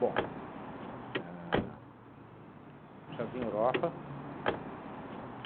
Bom, a Jardim Europa.